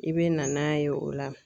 I bɛ na n'a ye o la.